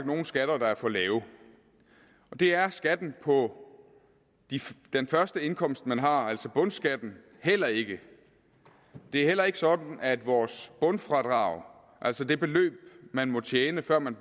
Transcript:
nogen skatter der er for lave og det er skatten på den første indkomst man har altså bundskatten heller ikke det er heller ikke sådan at vores bundfradrag altså det beløb man må tjene før man